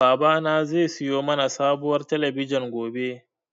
Babana zai siyo mana sabuwar talabijin gobe.